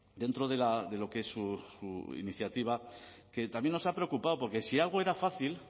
dentro de lo que es su iniciativa que también nos ha preocupado porque si algo era fácil